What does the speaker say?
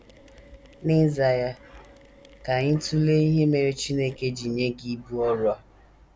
N’ịza ya, ka anyị tụlee ihe mere Chineke ji nye gị ibu ọrụ a.